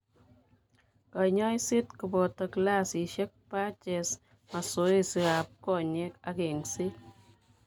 Kanyoiseet kobooto glassisiek, patches, masoesi ab konyek ak eng'seet